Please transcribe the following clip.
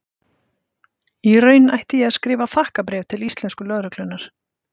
Í raun ætti ég að skrifa þakkarbréf til íslensku lögreglunnar.